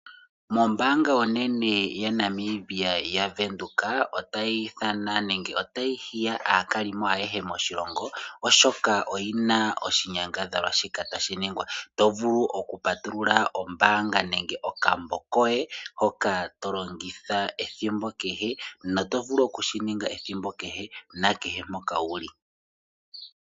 Mombaanga onene yaNamibia yaVenduka otayi ithana nenge otayi hiya aakalimo ayehe moshilongo oshoka oyina oshinyangadhalwa shika tashi ningwa to vulu okupatulula ombaanga nenge okambo koye hoka tolongitha ethimbo kehe no to vulu okudhi ninga ethimbo nakehe mpoka wuli.